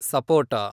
ಸಪೋಟ